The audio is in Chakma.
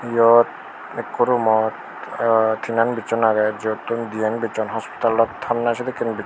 iyot ekko roomot tinan bichon agey jiyottun diyen bichon hospital ot thanney sedekken bicchon.